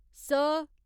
स